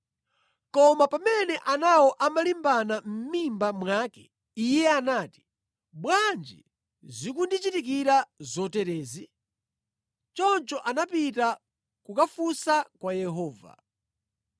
Koma pamene anawo amalimbana mʼmimba mwake, iye anati, “Bwanji zikundichitikira zoterezi?” Choncho anapita kukafunsa kwa Yehova.